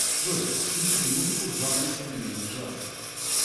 джой включите музыку в жанре современный джаз